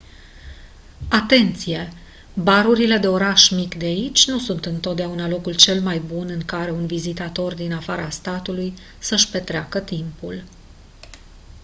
atenție barurile de oraș mic de aici nu sunt întotdeauna locul cel mai bun în care un vizitator din afara statului să-și petreacă timpul